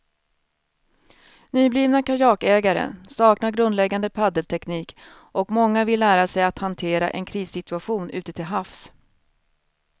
Nyblivna kajakägare saknar grundläggande paddelteknik och många vill lära sig att hantera en krissituation ute till havs.